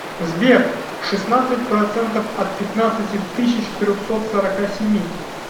сбер шестнадцать процентов от пятнадцати тысяч трехсот сорока семи